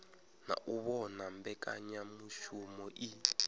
na u vhona mbekanyamushumo iyi